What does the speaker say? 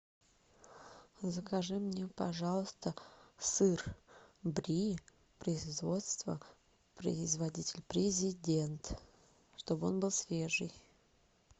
закажи мне пожалуйста сыр бри производство производитель президент чтобы он был свежий